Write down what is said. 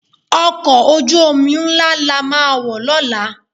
Ọkọ̀ ojú-omi ńlá la máa wọ̀ lọ́la